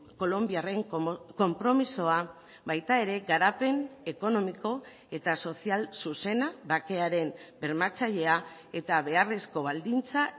kolonbiarren konpromisoa baita ere garapen ekonomiko eta sozial zuzena bakearen bermatzailea eta beharrezko baldintza